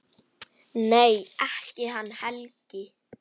Nei, ekki hann Helgi.